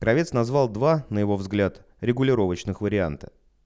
кравец назвал два на его взгляд регулировочных варианта